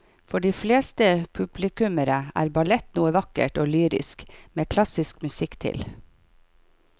For de fleste publikummere er ballett noe vakkert og lyrisk med klassisk musikk til.